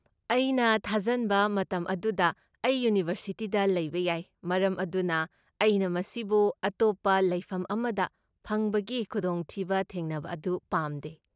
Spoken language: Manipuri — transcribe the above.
ꯑꯩꯅ ꯊꯥꯖꯟꯕ ꯃꯇꯝ ꯑꯗꯨꯗ ꯑꯩ ꯌꯨꯅꯤꯕꯔꯁꯤꯇꯤꯗ ꯂꯩꯕ ꯌꯥꯏ ꯃꯔꯝ ꯑꯗꯨꯅ ꯑꯩꯅ ꯃꯁꯤꯕꯨ ꯑꯇꯣꯞꯄ ꯂꯩꯐꯝ ꯑꯃꯗ ꯐꯪꯕꯒꯤ ꯈꯨꯗꯣꯡꯊꯤꯕ ꯊꯦꯡꯅꯕ ꯑꯗꯨ ꯄꯥꯝꯗꯦ ꯫